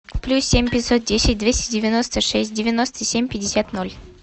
плюс семь пятьсот десять двести девяносто шесть девяносто семь пятьдесят ноль